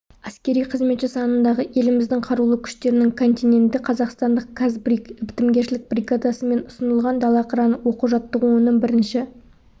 әскери қызметші санындағы еліміздің қарулы күштерінің контингенті қазақстандық қазбриг бітімгершілік бригадасымен ұсынылған дала қыраны оқу-жаттығуының бірінші